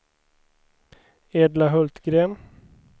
Edla Hultgren